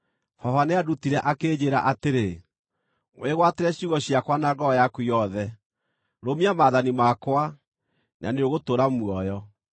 baba nĩandutire, akĩnjĩĩra atĩrĩ, “Wĩgwatĩre ciugo ciakwa na ngoro yaku yothe; rũmia maathani makwa, na nĩũgũtũũra muoyo.